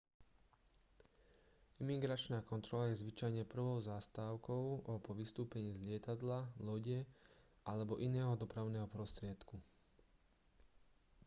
imigračná kontrola je zvyčajne prvou zastávkou po vystúpení z lietadla lode alebo iného dopravného prostriedku